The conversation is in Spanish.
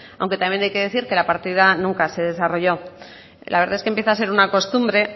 aunque también hay que decir que la partida nunca se desarrolló la verdad es que empieza a ser una costumbre